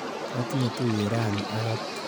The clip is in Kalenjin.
Katinye tuiyet rani ak Abdi.